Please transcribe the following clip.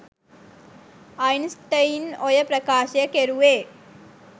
Einstein ඔය ප්‍රකාශය කෙරුවේ